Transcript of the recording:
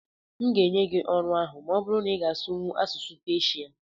m ga-enye gị ọrụ ahụ ma ọ bụrụ na ịga asụwu asụsụ Peshia